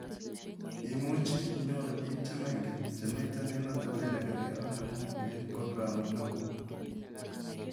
Imuuchii inyoruu piik chemengen chamiite eng' atebeet nekeerkei ak neng'ung' eng' programu nokok